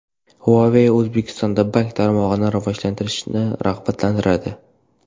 Huawei O‘zbekistonda bank tarmog‘ini rivojlantirishni rag‘batlantiradi.